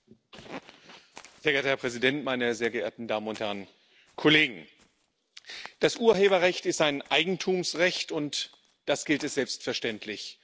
Sehr geehrter Herr Präsident, meine sehr geehrten Damen und Herren Kollegen! Das Urheberrecht ist ein Eigentumsrecht, und das gilt es selbstverständlich zu schützen.